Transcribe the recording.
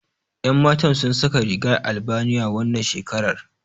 Yan Matan sun saka rigar Albaniya, wannan shekarar.